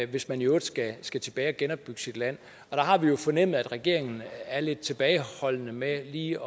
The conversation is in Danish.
hvis man i øvrigt skal skal tilbage og genopbygge sit land der har vi jo fornemmet at regeringen er lidt tilbageholdende med lige